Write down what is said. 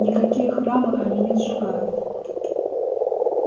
никакие храмы они не сжигают